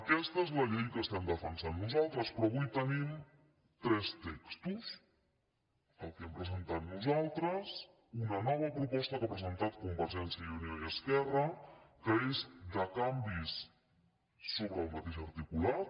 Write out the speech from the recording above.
aquesta és la llei que estem defensant nosaltres però avui tenim tres textos el que hem presentat nosaltres una nova proposta que han presentat convergència i unió i esquerra que és de canvis sobre el mateix ar·ticulat